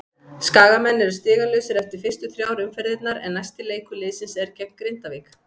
Skagamenn eru stigalausir eftir fyrstu þrjár umferðirnar en næsti leikur liðsins er gegn Grindavík.